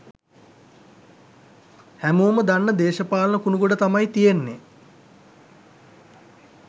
හැමෝම දන්න දේශපාලන කුණුගොඩ තමයි තියෙන්නේ.